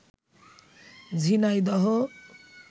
Jhenaidah